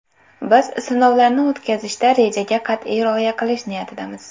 Biz sinovlarni o‘tkazishda rejaga qat’iy rioya qilish niyatidamiz.